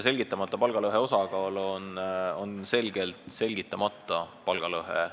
Selgitamata palgalõhet on selgelt rohkem kui selgitatud palgalõhet.